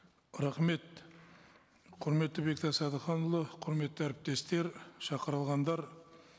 рахмет құрметті бектас әдіханұлы құрметті әріптестер шақырылғандар